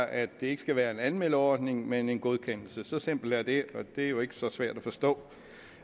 at det ikke skal være en anmeldeordning men en godkendelse så simpelt er det og det er jo ikke så svært at forstå